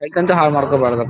Bike ಅಂತೂ ಹಾಳ್ ಮಾಡ್ಕೋಬ್ಯಾರ್ದು.